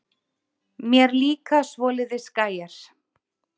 Mér líka svoleiðis gæjar.